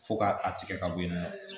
Fo ka a tigɛ ka bɔ yen nɔ